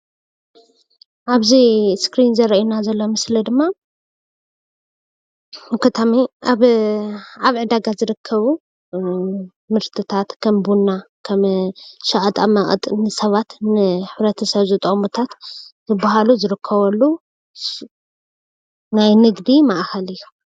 ኣብዚ አስክሪን ዝረኣየና ዘሎ ምስሊ ድማ ኣብ ዕዳጋ ዝርከቡ ምርትታት ከም ቡና ከም ሸቐጣመቐጥን ንሰባት ንሕብረተሰብ ዝጠቅሙታት ዝበሃሉ ዝርከበሉ ናይ ንግዲ ማእከል እዩ።